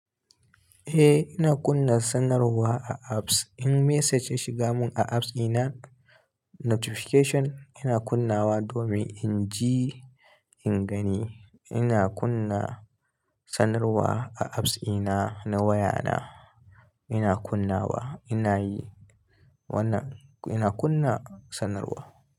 Eh ina kunna sanarwa a apps. In message ya shiga mun a apps ina notification ina kunnawa domin in ji, in gani. Ina kunna sanarwa a apps ina na waya na ina kunnawa. Ina yi wannan, ina kunna sanarwa.